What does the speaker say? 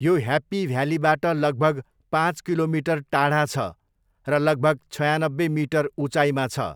यो ह्याप्पी भ्यालीबाट लगभग पाँच किलोमिटर टाढा छ र लगभग छयानब्बे मिटर उचाइमा छ।